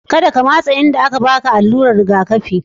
Ka da ka matsa inda aka ba ka alura'n rigakafi.